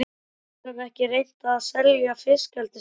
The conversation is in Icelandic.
Getur hann ekki reynt að selja fiskeldisstöðina?